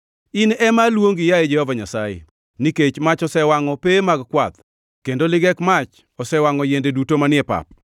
In ema aluongi, yaye Jehova Nyasaye, nikech mach osewangʼo pewe mag kwath, kendo ligek mach osewangʼo yiende duto manie pap.